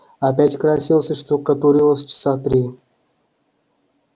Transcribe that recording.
опять красилась и штукатурилась часа три